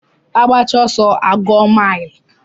Agbachaa ọsọ a gụọ milu.